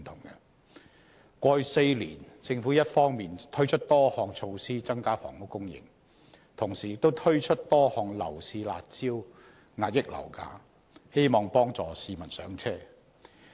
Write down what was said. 在過去4年，政府一方面推出多項措施增加房屋供應，同時亦推出多項樓市"辣招"遏抑樓價，希望幫助市民"上車"。